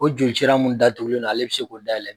O joli cira mun datugulen don ale bɛ se k'o dayɛlɛ.